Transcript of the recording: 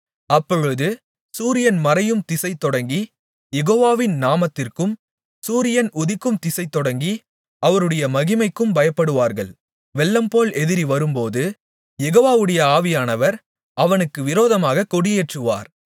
அப்பொழுது சூரியன் மறையும் திசைதொடங்கி யெகோவாவின் நாமத்திற்கும் சூரியன் உதிக்கும்திசை தொடங்கி அவருடைய மகிமைக்கும் பயப்படுவார்கள் வெள்ளம்போல் எதிரி வரும்போது யெகோவாவுடைய ஆவியானவர் அவனுக்கு விரோதமாகக் கொடியேற்றுவார்